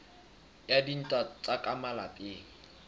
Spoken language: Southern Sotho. wa dintwa tsa ka malapeng